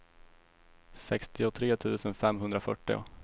sextiotre tusen femhundrafyrtio